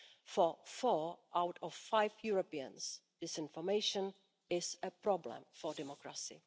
For four out of five Europeans, disinformation is a problem for democracy.